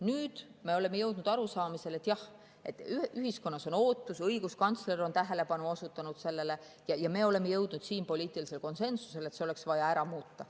Nüüd me oleme jõudnud arusaamisele, et jah, ühiskonnas on see ootus, õiguskantsler on sellele tähelepanu juhtinud ja me oleme jõudnud poliitilisele konsensusele, et see oleks vaja ära muuta.